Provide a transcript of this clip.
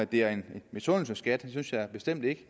det er en misundelsesskat det synes jeg bestemt ikke